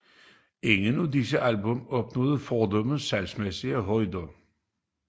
Ingen af disse album opnåede fordums salgsmæssige højder